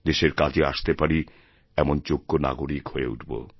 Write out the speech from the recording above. দেশের কাজে আসতে পারি এমন যোগ্য নাগরিকহয়ে উঠব